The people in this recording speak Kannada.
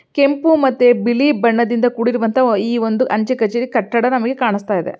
ಕೆಂಪು ಮತ್ತೆ ಬಿಳಿ ಬಣ್ಣದಿಂದ ಕೂಡಿರುವಂತ ಈ ಒಂದು ಅಂಚೆ ಕಚೇರಿ ಕಟ್ಟಡ ನಮಿಗೆ ಕಾಣುಸ್ತಾ ಇದೆ